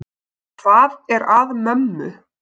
Hvað er að mömmu?